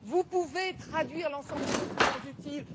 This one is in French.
Vous pouvez traduire l'ensemble des documents utiles.